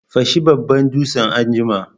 Fashe babban dutsen anjima!